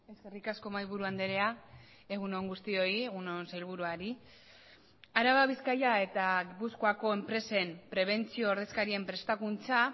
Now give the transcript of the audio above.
eskerrik asko mahaiburu andrea egun on guztioi egun on sailburuari araba bizkaia eta gipuzkoako enpresen prebentzio ordezkarien prestakuntza